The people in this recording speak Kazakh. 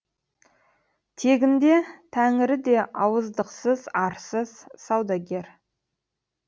тегінде тәңірі де ауыздықсыз арсыз саудагер